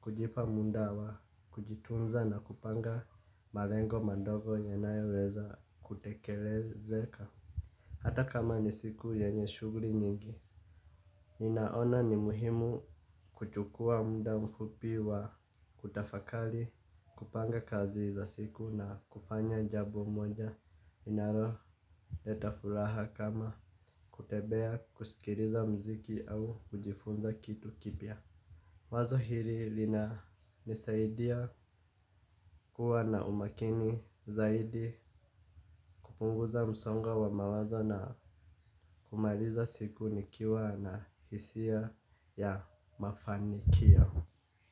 kujipa muda wa kujitunza na kupanga malengo madogo yanayoweza kutekelezeka. Hata kama ni siku yenye shughuli nyingi, ninaona ni muhimu kuchukua muda mfupi wa kutafakari kupanga kazi za siku na kufanya jambo moja. Inaloleta furaha kama kutembea kusikiliza muziki au kujifunza kitu kipya. Wazo hili linanisaidia kuwa na umakini zaidi kupunguza msongo wa mawazo na kumaliza siku nikiwa na hisia ya mafanikio.